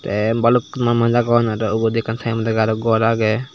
te balukko manuch agon aro ubot ekkan temdega gor agey.